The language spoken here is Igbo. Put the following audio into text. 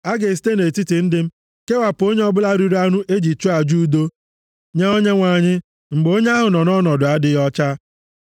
A ga-esite nʼetiti ndị m kewapụ onye ọbụla riri anụ e ji chụọ aja udo nye Onyenwe anyị mgbe onye ahụ nọ nʼọnọdụ adịghị ọcha.